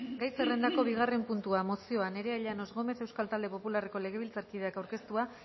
gai zerrendako bigarren puntua mozioa nerea llanos gómez euskal talde popularreko legebiltzarkideak aurkeztua